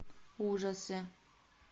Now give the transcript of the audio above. ужасы